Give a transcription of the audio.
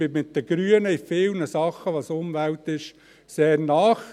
Ich bin mit den Grünen bei vielen Sachen, welche die Umwelt anbelangen, sehr nahe.